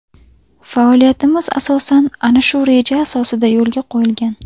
Faoliyatimiz asosan ana shu reja asosida yo‘lga qo‘yilgan.